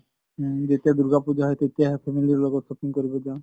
উম যেতিয়া দুৰ্গা পুজা হয় তেতিয়া family লগত shopping কৰিব যাওঁ।